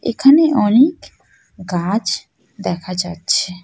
এখানে অনেক গাছ দেখা যাচ্ছে।